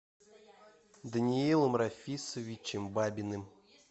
даниилом рафисовичем бабиным